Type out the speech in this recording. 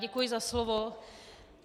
Děkuji za slovo.